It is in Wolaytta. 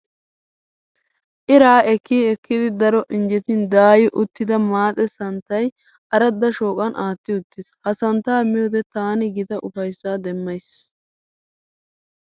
Iraa ekkii ekkidi daro injjetin daayi uttida maaxe santtay aradda shooqan aatti uttiis. Ha santtaa miyoode taani gita ufayssaa demmayiis.